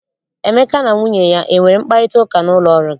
Emeka na nwunye ya enwere mkparịtaụka n'ụlọ ọrụ gị?